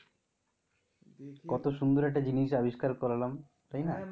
কত সুন্দর একটা জিনিস আবিষ্কার করলাম. তাই না?